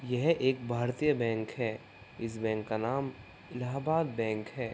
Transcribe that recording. यह एक भारतीय बैंक है। इस बैंक का नाम इलाहाबाद बैंक है।